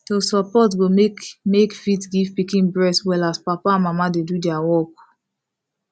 to support go make make fit give pikin breast well as papa and mama dey do their work